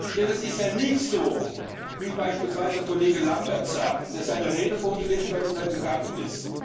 Denn es ist ja nicht so, wie es beispielsweise Kollege Lambert sagt, der seine Rede vorgelesen hat und dann gegangen ist.